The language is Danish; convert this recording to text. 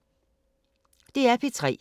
DR P3